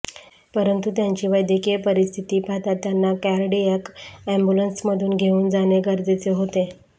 परंतु त्यांची वैद्यकीय परिस्थिती पाहता त्यांना कार्डिअॅक अॅम्ब्युलन्समधून घेऊन जाणे गरजेचे होते